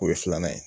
O ye filanan ye